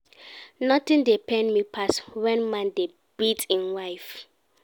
Nothing dey pain me pass when man dey beat im wife